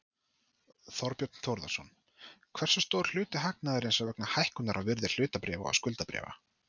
Þorbjörn Þórðarson: Hversu stór hluti hagnaðarins er vegna hækkunar á virði hlutabréfa og skuldabréfa?